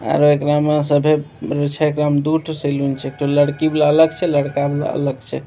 आर एकरा में सभे छै एकरा में दू टा सैलून छै एगो लड़की वाला अलग छै एगो लड़का वाला अलग छै।